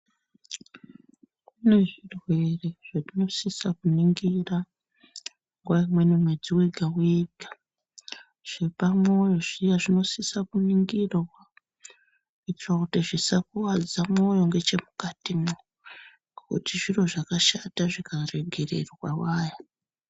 Kune zvirwere zvatinosisa kuningira nguwa imweni mwedzi wega wega zvepamwoyo Zviya zvinosisa kuningirwa kuita kuti zvisakuwadza mwoyo mukatimwo ngekuti zviro zvakashata zvikaregererwa waya.